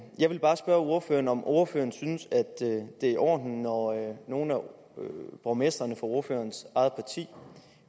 jeg vil bare spørge ordføreren om ordføreren synes at det er i orden når nogle af borgmestrene fra ordførerens eget parti